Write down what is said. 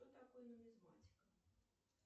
кто такой нумизматик